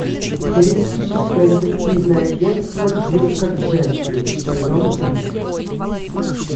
холистическое детективное агентство дирка джентли сезон три